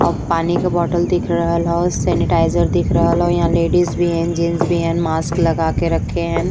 और पानी के बॉटल दिख रहल ह सेनिटाइजर दिख रहल ह। इहाँ लेडीज भी हे जेन्स भी है मास्क लगा के रखे हैन।